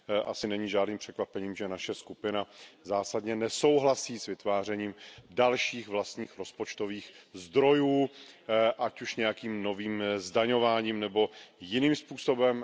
Asi není žádným překvapením, že naše skupina zásadně nesouhlasí s vytvářením dalších vlastních rozpočtových zdrojů, ať už nějakým novým zdaňováním nebo jiným způsobem.